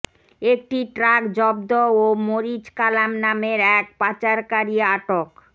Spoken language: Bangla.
একটি ট্রাক জব্দ ও মরিচ কালাম নামের এক পাচারকারী আটক